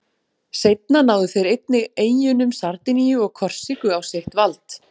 Seinna náðu þeir einnig eyjunum Sardiníu og Korsíku á sitt vald.